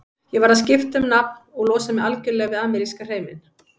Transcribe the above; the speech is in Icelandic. Ég varð að skipta um nafn og losa mig algjörlega við ameríska hreiminn.